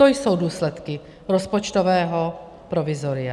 To jsou důsledky rozpočtového provizoria.